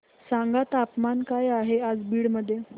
सांगा तापमान काय आहे आज बीड मध्ये